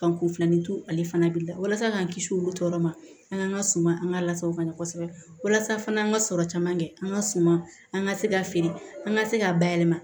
Ka kun filanin to ale fana b'i la walasa k'an kisi olu tɔɔrɔ ma an ka suma an ka lasaw ka ɲana kosɛbɛ walasa fana an ka sɔrɔ caman kɛ an ka suma an ka se ka feere an ka se ka bayɛlɛma